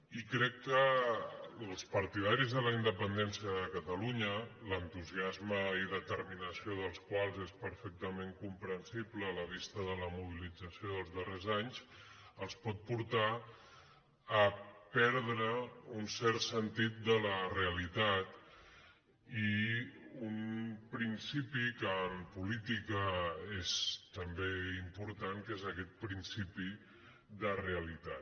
i crec que als partidaris de la independència de catalunya l’entusiasme i determinació dels quals és perfectament comprensible a la vista de la mobilització dels darrers anys els pot portar a perdre un cert sentit de la reali·tat i un principi que en política és també important que és aquest principi de realitat